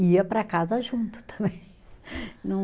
Ia para casa junto também.